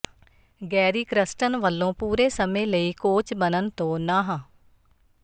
Garry Kirsten ਵੱਲੋਂ ਪੂਰੇ ਸਮੇਂ ਲਈ ਕੋਚ ਬਣਨ ਤੋਂ ਨਾਂਹ